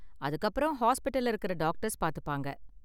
அதுக்கப்புறம் ஹாஸ்பிடல்ல இருக்கற டாக்டர்ஸ் பாத்துப்பாங்க.